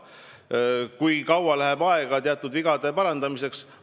Kui kaua läheb aega teatud vigade parandamiseks?